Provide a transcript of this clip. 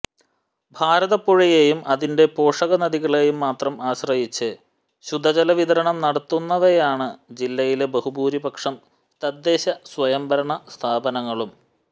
ഭാരതപ്പുഴയെയും അതിന്റെ പോഷകനദികളേയും മാത്രം ആശ്രയിച്ച് ശുദ്ധജലവിതരണം നടത്തുന്നവയാണ് ജില്ലയിലെ ബഹുഭൂരിപക്ഷം തദ്ദേശ സ്വയംഭരണ സ്ഥാപനങ്ങളും